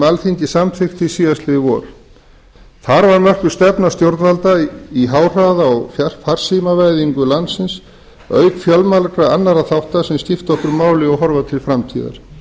alþingi samþykkti síðastliðið vor þar var mörkuð stefna stjórnvalda í háhraða og farsímavæðingu landsins auk fjölmargra annarra þátta sem skipta okkur máli og horfa til framtíðar